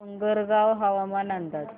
डोंगरगाव हवामान अंदाज